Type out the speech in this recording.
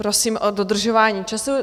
Prosím o dodržování času.